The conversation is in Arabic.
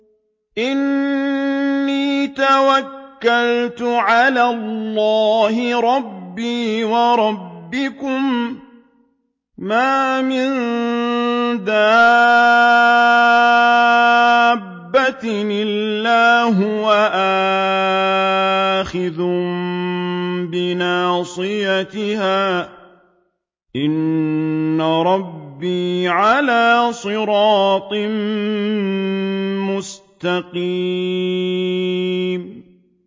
إِنِّي تَوَكَّلْتُ عَلَى اللَّهِ رَبِّي وَرَبِّكُم ۚ مَّا مِن دَابَّةٍ إِلَّا هُوَ آخِذٌ بِنَاصِيَتِهَا ۚ إِنَّ رَبِّي عَلَىٰ صِرَاطٍ مُّسْتَقِيمٍ